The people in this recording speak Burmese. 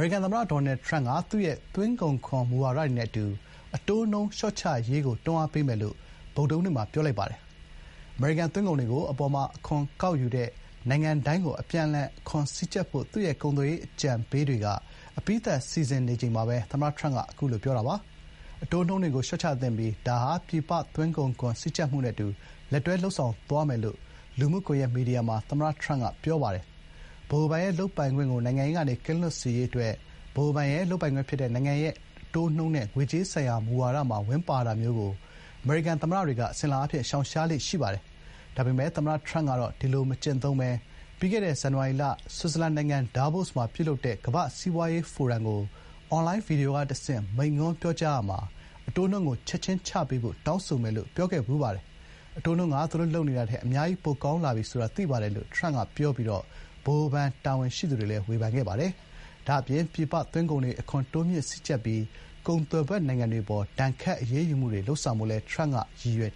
ရိကန် သမ္မတ Donald Trump က သူ့ရဲ့ သွင်းကုန်ခွန် မူဝါဒတွေနဲ့ အတူ အတိုးနှုန်း လျှော့ချရေးကို တွန်းအားပေးမယ်လို့ ဗုဒ္ဓဟူးနေ့မှာ ပြောဆိုလိုက်ပါတယ်။ အမေရိကန် သွင်းကုန်တွေကို အပေါ်မှာ အခွန်ကောက်ယူတဲ့ နိုင်ငံတိုင်းကို အပြန်အလှန် အခွန်စည်းကြပ်ဖို့ သူ့ရဲ့ ကုန်သွယ်ရေး အကြံပေးတွေက အပြီးသတ် စီစဉ်နေချိန်မှာပဲ သမ္မတ Trump က အခုလို ပြောခဲ့တာပါ။ “အတိုးနှုန်းတွေကို လျှော့ချသင့်ပြီး ဒါဟာ ပြည်ပ သွင်းကုန်ခွန် စည်းကြပ်မှုနဲ့အတူ လက်တွဲလုပ်ဆောင်သွားမယ်” လို့ လူမှုကွန်ရက် မီဒီယာမှာ သမ္မတ Trump က ပြောဆိုထားပါတယ်။ ဗဟိုဘဏ်ရဲ့ လုပ်ပိုင်ခွင့်ကို နိုင်ငံရေးကနေ ကင်းလွတ်စေရေး အတွက် ဗဟိုဘဏ်ရဲ့ လုပ်ပိုင်ခွင့် ဖြစ်တဲ့ နိုင်ငံရဲ့ အတိုးနှုန်းနဲ့ ငွေကြေးဆိုင်ရာမူဝါဒမှာ ဝင်ပါတာမျိုးကို အမေရိကန် သမ္မတတွေက အစဉ်အလာအားဖြင့် ရှောင်ရှားကြပါတယ်။ ဒါပေမယ့် သမ္မတ ထရမ့်ကတော့ ဒီလို မကျင့်သုံးဘဲ ပြီးခဲ့တဲ့ ဇန်နဝါရီလ ဆွစ်ဇာလန်နိုင်ငံ ဒါဗို့စ်မှာ ပြုလုပ်တဲ့ ကမ္ဘာ့စီးပွားရေးဖိုရမ်ကို အွန်လိုင်း ဗီဒီယိုကတဆင့် မိန့်ခွန်းပြောရာမှာ “အတိုးနှုန်းကို ချက်ချင်းချပေးဖို့ တောင်းဆိုမယ်” လို့ ပြောခဲ့ပါတယ်။ “အတိုးနှုန်းက သူတို့လုပ်နေတာထက် အများကြီး ပိုကောင်းလာပြီ ဆိုတာ သိပါတယ်” လို့ ထရမ့် က ပြောပြီး ဗဟိုဘဏ် တာဝန်ရှိသူတွေကိုလည်း ဝေဖန်ခဲ့ပါတယ်။ ဒါ့အပြင်ပြည်ပ သွင်းကုန်တွေကို အခွန်တိုးမြှင့် စည်းကြပ်ပြီး ကုန်သွယ်ဖက်နိုင်ငံတွေ အပေါ် ဒဏ်ခတ်အရေးယူမှုတွေ လုပ်ဆောင်ဖို့လည်း ထရမ့်က ရည်ရွယ်